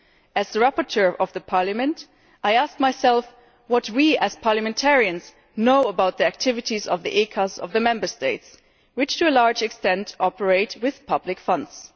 As the rapporteur for Parliament, I asked myself what we as Parliamentarians knew about the activities of the ECAs of the Member States, which to a large extent operate with public funds.